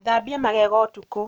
Thambia magego ũtukũ